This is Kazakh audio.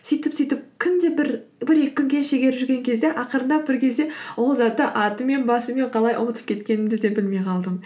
сөйтіп сөйтіп күнде бір екі күн кері шегеріп жүрген кезде ақырындап бір кезде ол затты атымен басымен қалай ұмытып кеткенімді де білмей қалдым